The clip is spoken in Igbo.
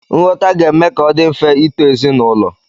Nghọta ga-eme ka ọ dị mfe ịto ezinaụlọ.